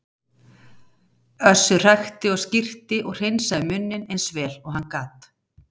Össur hrækti og skyrpti og hreinsaði munninn eins vel og hann gat.